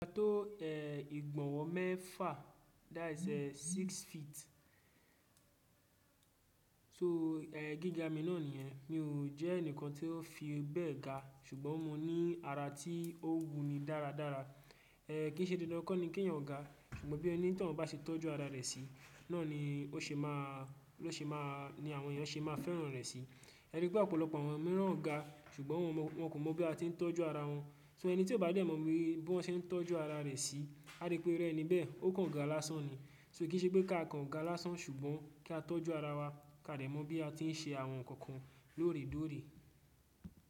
Ga tó è ìgbọ̀nwọ́ mẹ́fà that is eh six feet. So è gíga mi náà nìyẹn. Mi ò jẹ́ ẹnìkan tí ó fi bẹ́ẹ̀ ga ṣùgbọ́n mo ní ara tí ó wuni dáradára. È kí í ṣe dandan kó ni kí èyàn gá ṣùgbọ́n bí oni tọ́un bá ṣe tọ́jú ara rẹ̀ sí, náà ni ó ṣe máa ló ṣe máa ni àwọn ènìyàn ṣe máa fẹ́ràn rẹ̀ sí. E rí pé ọ̀pọ̀lọpọ̀ àwọn mìíràn gá ṣùgbọ́n wọ́n kò mọ bí a tí ń tọ́jú ara wọn. So ẹni tí ó bá dẹ̀ mọ̀ bí wọ́n ṣe ń tọ́jú ara rẹ̀ sí, a rí pé irú ẹni bẹ́ẹ̀ ó kan gá lásán ni. So kí í ṣe pé ká a kan gá lásán ṣùgbọ́n ká a tọ́jú ara wa káa dẹ̀ mọ̀ bí a tí ń ṣe àwọn nǹkan kan lóòrè kóòrè.